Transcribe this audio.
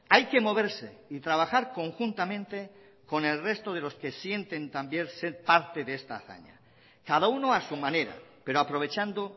hay que moverse y trabajar conjuntamente con el resto de los que sienten también ser parte de esta hazaña cada uno a su manera pero aprovechando